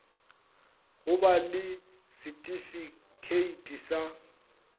go ba le setifikheiti sa